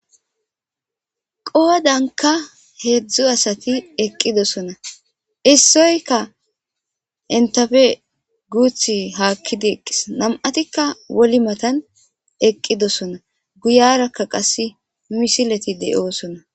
qoodanka heedzdzu asati eqqidosona issoyka intafe guuth haakkidi eqqis nam7atikka woli matan eqqidosona guyarakka qas misileti de7oosona